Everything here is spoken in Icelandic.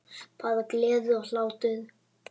Bara gleði og hlátur.